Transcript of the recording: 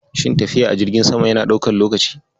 Shin tafiya a jirgin sama yana ɗaukan lokaci